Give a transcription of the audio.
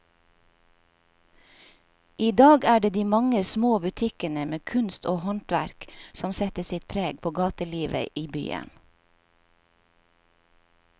I dag er det de mange små butikkene med kunst og håndverk som setter sitt preg på gatelivet i byen.